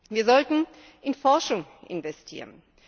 Wir sollten in Forschung investieren.